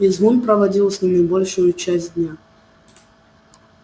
визгун проводил с ними большую часть дня